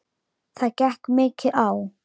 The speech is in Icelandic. Það gekk mikið á.